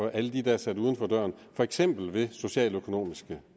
alle dem der er sat uden for døren for eksempel ved oprettelsen af socialøkonomiske